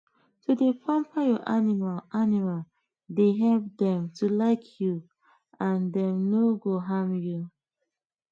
to dey pamper your animal animal dey help dem to like you and dem no go harm you